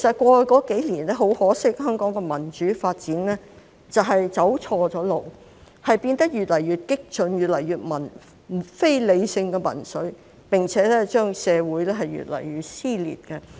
過去數年，很可惜，香港的民主發展走錯路，變得越來越激進，越來越非理性的民粹，並且令社會越來越撕裂。